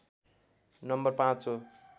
number ५ हो